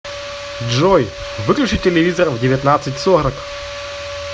джой выключи телевизор в девятнадцать сорок